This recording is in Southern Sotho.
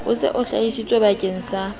o se o hlahisitswebakeng sa